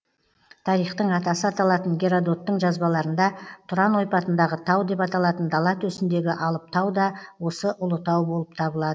тарихтың атасы аталатын геродоттың жазбаларында тұран ойпатындағы тау деп аталатын дала төсіндегі алып тау да осы ұлытау болып табылады